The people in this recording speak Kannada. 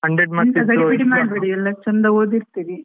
ಎಂತ ಗಡಿಬಿಡಿ ಮಾಡ್ಬೇಡಿ ಎಲ್ಲ ಚೆಂದ ಓದಿರ್ತೀರಿ.